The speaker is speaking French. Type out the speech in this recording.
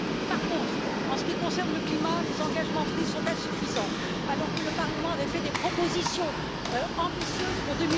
Par contre, en ce qui concerne le climat, les engagements pris sont insuffisants, alors que le Parlement avait fait des propositions ambitieuses pour